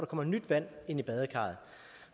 kommer nyt vand i badekarret